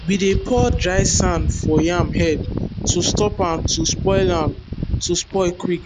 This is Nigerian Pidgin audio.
we dey pour dry sand for yam head to stop am to spoil am to spoil quick